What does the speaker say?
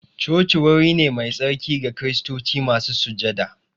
Coci wuri ne mai tsarki ga kiristoci masu sujada